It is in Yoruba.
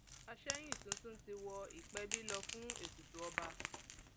àsẹyìn um tuntun ti wọ ìpẹbí lọ fún ètùtù ọba um